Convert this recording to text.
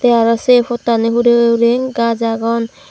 te arow sei pottani hurey uri gaj agon.